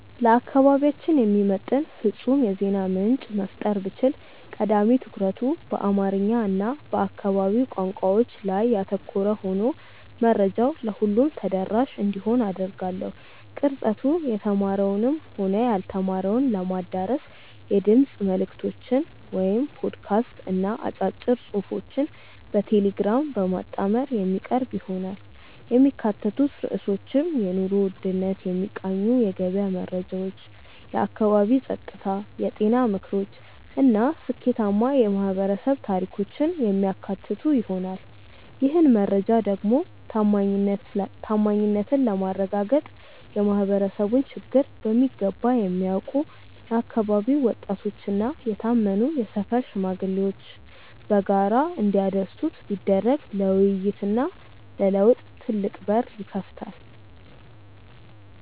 ለአካባቢያችን የሚመጥን ፍጹም የዜና ምንጭ መፍጠር ብችል፣ ቀዳሚ ትኩረቱ በአማርኛ እና በአካባቢው ቋንቋዎች ላይ ያተኮረ ሆኖ መረጃው ለሁሉም ተደራሽ እንዲሆን አደርጋለሁ። ቅርጸቱ የተማረውንም ሆነ ያልተማረውን ለማዳረስ የድምፅ መልዕክቶችን (ፖድካስት) እና አጫጭር ጽሑፎችን በቴሌግራም በማጣመር የሚቀርብ ይሆናል። የሚካተቱት ርዕሶችም የኑሮ ውድነትን የሚቃኙ የገበያ መረጃዎች፣ የአካባቢ ጸጥታ፣ የጤና ምክሮች እና ስኬታማ የማኅበረሰብ ታሪኮችን የሚያካትቱ ይሆናል። ይህን መረጃ ደግሞ ታማኝነትን ለማረጋገጥ የማኅበረሰቡን ችግር በሚገባ የሚያውቁ የአካባቢው ወጣቶችና የታመኑ የሰፈር ሽማግሌዎች በጋራ እንዲያደርሱት ቢደረግ ለውይይትና ለለውጥ ትልቅ በር ይከፍታል።